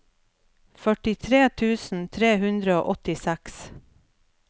førtitre tusen tre hundre og åttiseks